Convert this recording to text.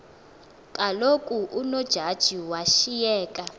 kaloku unojaji washiyeka